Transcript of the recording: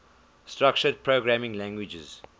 structured programming languages